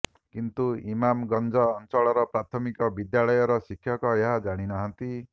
କିନ୍ତୁ ଇମାମଗଂଜ ଅଂଚଳର ପ୍ରାଥମିକ ବିଦ୍ୟାଳୟର ଶିକ୍ଷକ ଏହା ଜାଣିନାହାନ୍ତି